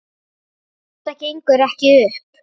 Þetta gengur ekki upp.